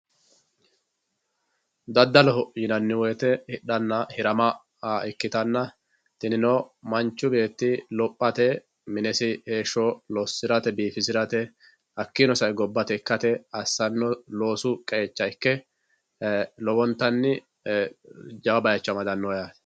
daddaloho yinanni woyiite hidhanna hirama ikkitanna tinino manchu beetti lophate minesi heesho lossirate biifisirste hakkiino sa"e gobbate ikkate assanno losu qeecha ikke lowontanni jawa bayiicho amadanno yaate.